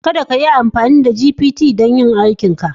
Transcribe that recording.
Kada kayi amfani da ChatGPT don yin ayyukanka